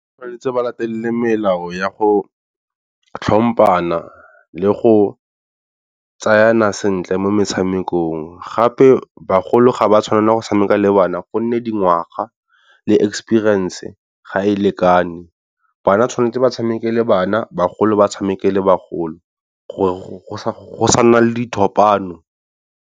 Tshwanetse ba latelele melao ya go tlhompana le go tsayana sentle mo metshamekong. Gape bagolo ga ba tshwanela go tshameka le bana gonne dingwaga le experience ga e lekane, bana tshwanetse ba tshameke le bana bagolo ba tshameka le bagolo gore go sa nna le dithopano.